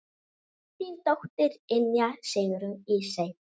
Þín dóttir, Ynja Sigrún Ísey.